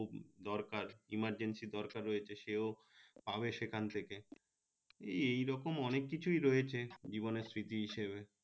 দরকার emergency দরকার রয়েছে সেও পাবে সেখান থেকে এই রকম অনেক কিছুই রয়েছে জীবনের স্মৃতি হিসেবে